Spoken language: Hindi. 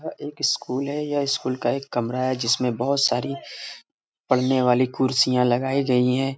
एक स्कूल है यह स्कूल का एक कमरा है जिसमें बहुत सारी पढ़ने वाली कुर्सियां लगाई गई है|